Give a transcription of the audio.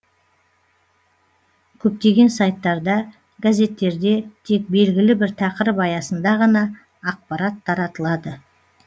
көптеген сайттарда газеттерде тек белгілі бір тақырып аясында ғана ақпарат таратылады